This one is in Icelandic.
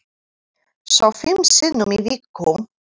Svo fimm sinnum í viku.